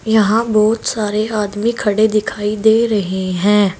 यहां बहुत सारे आदमी खड़े दिखाई दे रहे हैं।